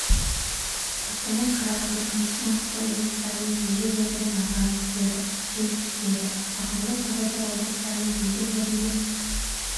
қостанай қарағанды күндіз маңғыстау облыстарының кей жерлерінде найзағай күтіледі жел күшейеді ақмола павлодар облыстарының кей жерлерінде